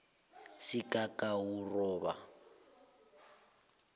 sigagawuroba